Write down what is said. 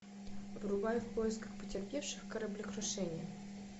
врубай в поисках потерпевших кораблекрушение